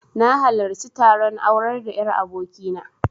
Na halarci taron aurar da 'yar aboki na